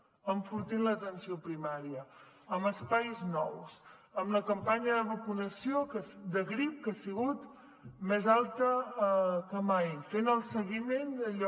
hem enfortit l’atenció primària amb espais nous amb la campanya de vacunació de grip que ha sigut més alta que mai hem fet el seguiment d’allò